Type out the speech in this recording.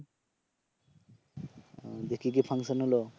ও দিয়ে কি কি ফাঙ্কশন হল?